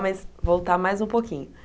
Mas voltar mais um pouquinho.